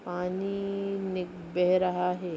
पानी निक बेह रहा है।